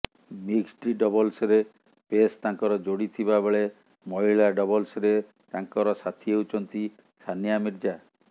mixed ଡବଲ୍ସରେ ପେସ୍ ତାଙ୍କର ଯୋଡ଼ି ଥିବା ବେଳେ ମହିଳା ଡବଲ୍ସରେ ତାଙ୍କର ସାଥୀ ହେଉଛନ୍ତି ସାନିଆ ମିର୍ଜା